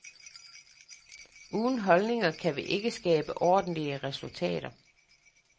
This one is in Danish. Uden holdninger kan vi ikke skabe ordentlige resultater.